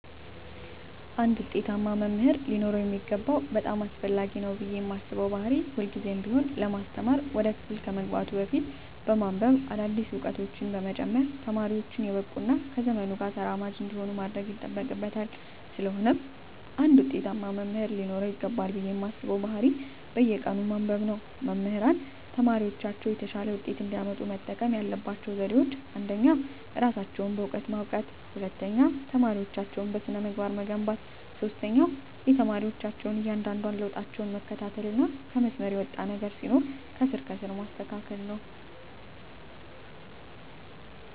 አንድ ውጤታማ መምህር ሊኖረው የሚገባው በጣም አስፈላጊ ነው ብየ ማስበው ባህሪ ሁልግዜም ቢሆን ለማስተማር ወደ ክፍል ከመግባቱ በፊት በማንብበ አዳዲስ እውቀቶችን በመጨመር ተማሪወቹን የበቁ እና ከዘመኑ ጋር ተራማጅ እንዲሆኑ ማድረግ ይጠበቅበታል ስለሆነም አንድ ውጤታማ መምህር ሊኖረው ይገባል ብየ ማስበው ባህሪ በየቀኑ ማንበብ ነው። መምህራን ተማሪወቻቸው የተሻለ ውጤት እንዲያመጡ መጠቀም ያለባቸው ዘዴወች አንደኛ እራሳቸውን በእውቀት ማብቃት፣ ሁለተኛ ተማሪወቻቸውን በስነ-ምግባር መገንባት፣ ሶስተኛ የተማሪወቻቸውን እያንዳንዷን ለውጣቸውን መከታተልና ከመስመር የወጣ ነገር ሲኖር ከስር ከስር ማስተካከል።